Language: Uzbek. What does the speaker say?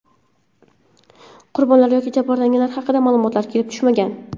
Qurbonlar yoki jabrlanganlar haqida ma’lumotlar kelib tushmagan.